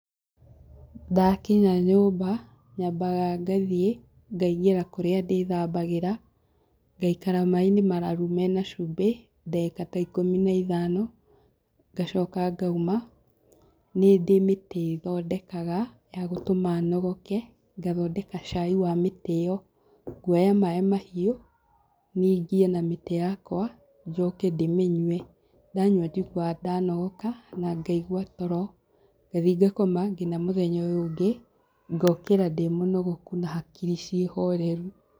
Ndakinya nyũmba, nyambaga ngathiĩ ngaingĩra kũrĩa ndĩthambagĩra, ngaikara maĩ-inĩ mararu mena cumbĩ, ndagĩka ta ikũmi na ithano, ngacoka ngauma. Nĩndĩ mĩtĩ thondekaga, ya gũtũma nogoke, ngathondeka cai wa mĩtĩ ĩyo, nguoya maĩ mahiũ ningie na mĩtĩ yakwa, njoke ndĩmĩnyue. Ndanyua njiguaga ndanogoka na ngaigua toro, ngathiĩ ngakoma nginya mũthenya ũyũ ũngĩ, ngokĩra ndĩ mũnogoku na hakiri ciĩ horeru.